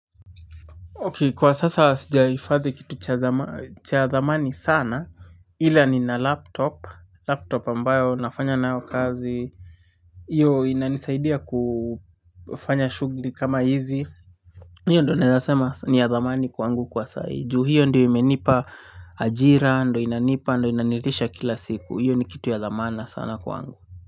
Ok kwa sasa sijaifadhi kitu cha dhamani sana ila ni na laptop laptop ambayo nafanya nayo kazi. Hiyo inanisaidia kufanya shughuli kama hizi. Hiyo ndo naeza sema ni ya dhamani kwangu kwa sahii hiyo ndiyo menipa ajira ndo inanipa ndo inanilisha kila siku hiyo ni kitu ya dhamana sana kwangu